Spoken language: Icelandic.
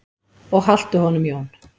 Og haltu honum Jón.